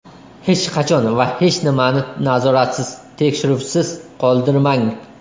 Hech qachon va hech nimani nazoratsiz, tekshiruvsiz qoldirmang.